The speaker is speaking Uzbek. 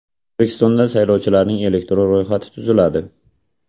O‘zbekistonda saylovchilarning elektron ro‘yxati tuziladi.